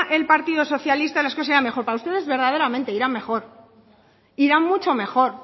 el partido socialista las cosas serían mejor para ustedes verdaderamente irán mejor irán mucho mejor